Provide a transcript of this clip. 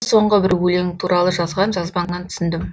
соңғы бір өлең туралы жазған жазбаңнан түсіндім